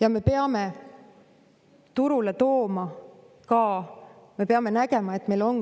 Ja me peame turule tooma, me peame nägema, et meil on